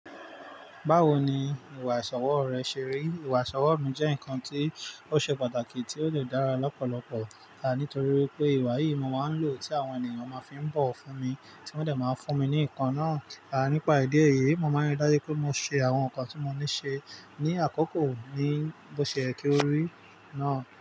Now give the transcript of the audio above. Báwo ni ìwà ìṣọwọ́ rẹ ṣe rí? Ìwà ìṣọwọ́ mi jẹ́ nǹkan tí ó ṣe pàtàkì tí ó de dára lọ́pọ̀lọpọ̀, a nítorí wipé ìwà yìí mo máa ń lò tí àwọn ènìyàn máa fi n bọ̀wo fún mi tí wọ́n dẹ̀ máa ń fún mi ní ǹnkan náà. Nípa ìdí èyí, mo máa ń rí dájú wipé mo ṣe àwọn nǹkan tí mo ní ṣe ní àkókò ní bó ṣe yé kí ó rí náà.